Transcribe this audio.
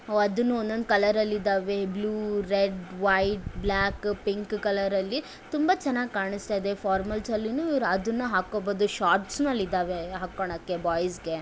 ಅದನ್ನು ಒಂದೊಂದು ಕಲರ್ ಅಲ್ಲಿ ಇದ್ದಾವೆ blue red white black pink ಕಲರಲ್ಲಿ ತುಂಬಾ ಚೆನ್ನಾಗಿ ಕಾಣಿಸುತ್ತ ಇದೇ ಫಾರ್ಮಲ್ ಸಲ್ಲುನು ಅದುನ್ನ ಹಾಕಬಹುದು ಸಾಟ್ಸ್ ನು ಅಲ್ಲಿ ಇದಾವೆ ಹಾಕೊಳೋದಿಕ್ಕೆ ಬಾಯ್ಸ್ ಗೆ .